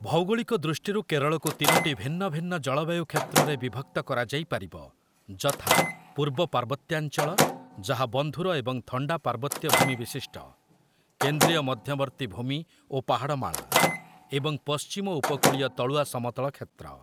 ଭୌଗୋଳିକ ଦୃଷ୍ଟିରୁ କେରଳକୁ ତିନୋଟି ଭିନ୍ନ ଭିନ୍ନ ଜଳବାୟୁ କ୍ଷେତ୍ରରେ ବିଭକ୍ତ କରାଯାଇ ପାରିବ, ଯଥା- ପୂର୍ବ ପାର୍ବତ୍ୟାଞ୍ଚଳ, ଯାହା ବନ୍ଧୁର ଏବଂ ଥଣ୍ଡା ପାର୍ବତ୍ୟ ଭୂମି ବିଶିଷ୍ଟ, କେନ୍ଦ୍ରୀୟ ମଧ୍ୟବର୍ତ୍ତୀ ଭୂମି ଓ ପାହାଡ଼ମାଳା, ଏବଂ ପଶ୍ଚିମ ଉପକୂଳୀୟ ତଳୁଆ ସମତଳ କ୍ଷେତ୍ର ।